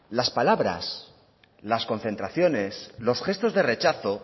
las palabras las concentraciones los gestos de rechazo